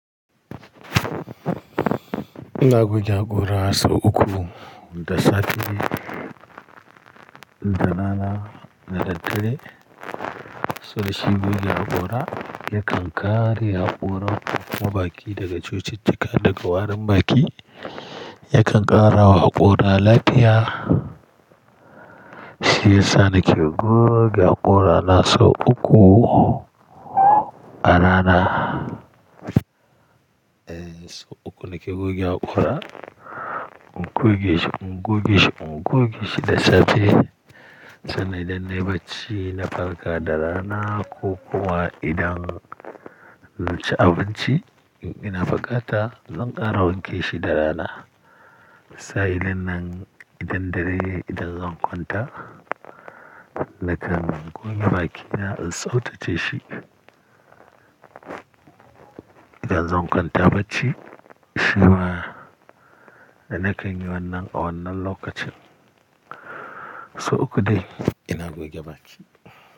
Ina goge haƙora sau uku da safe da rana da dare. Saboda shi goge haƙora yakan ƙare haƙoran dakuma baki daga cututtuka daga warin baki. Yakan ƙara wa haƙora lafiya. Shi yasa nake goge haƙora na sau uku a rana. Eh sau uku nake goge haƙora. In goge shi, in goge shi, in goge shi da safe. Sannan idan na yi bacci na farka da rana ko kuwa idan na ci abinci, ina faƙata, zan ƙara wanke shi da rana. Sa'ilinnan idan dare yayi idan zan kwanta, nakan goge bakina in tsautace shi. Idan zan kwanta bacci, shi ma da na kan yi wannan a wannan lokacin. Sau uku dai ina goge baki.